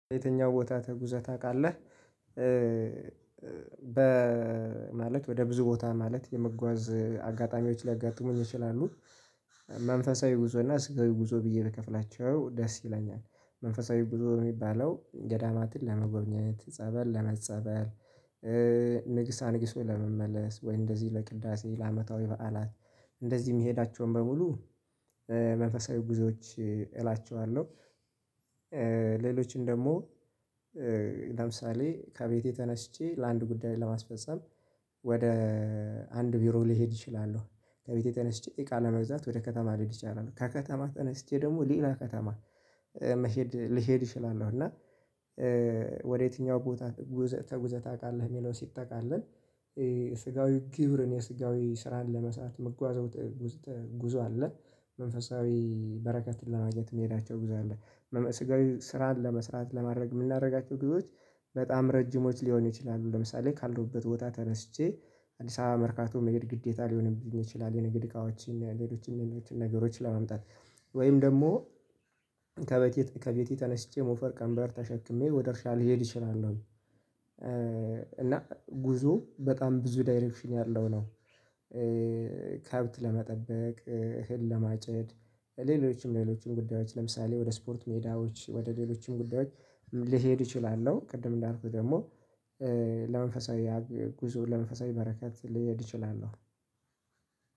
የትኛው ቦታ ተጉዘህ ታውቃለህ? በ ማለት ወደ ብዙ ቦታ ማለት የመጓዝ አጋጣሚዎች ሊያጋጥሙኝ ይችላሉ። መንፈሳዊ ጉዞ እና ስጋዊ ጉዞ ብዬ ብከፍላቸው ደስ ይለኛል መንፈሳዊ ጉዞ የሚባለው ገዳማትን ለመጎብኘት ጸበል ለመጸበል። ንግስ አንግሶ ለመመለስ ወይ እንደዚህ ለቅዳሴ ለአመታዊ በዓላት እንደዚህ የምሄዳቸውን በሙሉ መንፈሳዊ ጉዞዎች እላቸዋለሁ። ሌሎቹን ደግሞ ለምሳሌ ከቤቴ ተነስቼ ለአንድ ጉዳይ ለማስፈፀም ወደ አንድ ቢሮ ልሄድ እችላለሁ። ከቤቴ ተነስቼ እቃ ለመግዛት ወደ ከተማ ልሄድ ይቻላል ከከተማ ተነስቼ ደግሞ ሌላ ከተማ መሄድ ልሄድ እችላለሁ። እና ወደየትኛው ቦታ ተጉዘህ ታውቃለህ? የሚለው ሲጠቃለል። ስጋዊ ግብርን የስጋዊ ስራን ለመስራት ምጓዘው ጉዞ አለ። መንፈሳዊ በረከትን ለማግኘት የምሄዳቸው ጉዞ አለ። ስጋዊ ስራን ለመስራት ለማድረግ የምናደርጋቸው ጉዞዋች በጣም ረጅሞች ሊሆኑ ይችላሉ። ለምሳሌ ካለሁበት ቦታ ተነስቼ አዲስ አበባ መርካቶ መሄድ ግዴታ ሊሆንብኝ ይችላል። የንግድ እቃዎችን ሌሎችን ሌሎችን ነገሮች ለማምጣት። ወይም ደግሞ ከቤቴ ተነስቼ ሞፈር ቀንበር ተሸክሜ ወደ እርሻ ልሄድ እችላለሁ። እና ጉዞ በጣም ብዙ ዳይሬክሽን ያለው ነው። ከብት ለመጠበቅ እህል ለማጨድ ሌሎችም ሌሎችም ጉዳዮች ለምሳሌ ወደ ስፖርት ሜዳዎች ወደ ሌሎችም ጉዳዮች ልሄድ እችላለሁ። ቅድም እንዳልኩህ ደግሞ ለመንፈሳዊ ጉዞ ለመንፈሳዊ በረከት ልሄድ እችላለሁ።